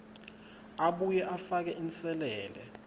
abuye afake inselele